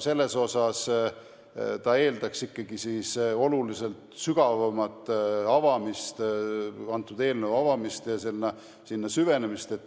siis see eeldaks ikkagi teema oluliselt sügavamat konkreetse eelnõu avamist ja sellesse süvenemist.